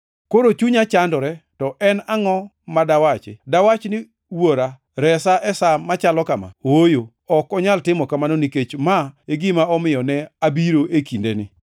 “Koro chunya chandore, to en angʼo ma dawachi? Dawach ni, ‘Wuora, resa e sa machalo kama?’ Ooyo, ok onyal timo kamano nikech ma e gima omiyo ne abiro e kindeni.